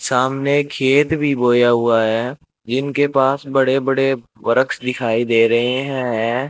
सामने खेत भी बोया हुआ है जिनके पास बड़े बड़े बरक्स दिखाई दे रहे है।